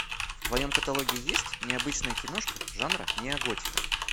в твоем каталоге есть необычная киношка жанра неоготика